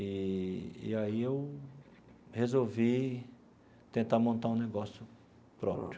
Eee e aí eu resolvi tentar montar um negócio próprio.